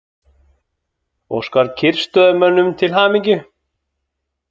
Óskar kyrrstöðumönnum til hamingju